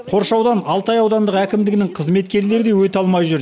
қоршаудан алтай аудандық әкімдігінің қызметкерлері де өте алмай жүр